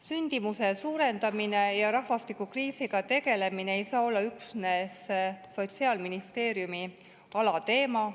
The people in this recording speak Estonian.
Sündimuse suurendamine ja rahvastikukriisiga tegelemine ei saa olla üksnes Sotsiaalministeeriumi alateema.